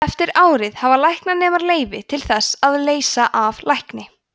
eftir árið hafa læknanemar leyfi til þess að leysa af lækni